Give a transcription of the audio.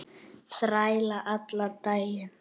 Þræla allan daginn!